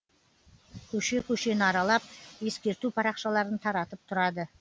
көше көшені аралап ескерту парақшаларын таратып тұрады